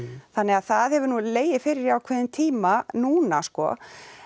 þannig að það hefur nú legið fyrir í ákveðinn tíma núna sko